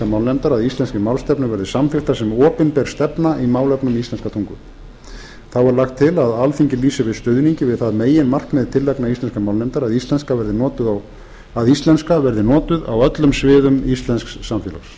málnefndar að íslenskri málstefnu verði samþykktar sem opinber stefna í málefnum íslenskrar tungu þá er lagt til að alþingi lýsi yfir stuðningi við það meginmarkmið tillagna íslenskrar málnefndar að íslenska verði notuð á öllum sviðum íslensks samfélags það